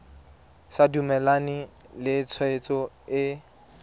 sa dumalane le tshwetso e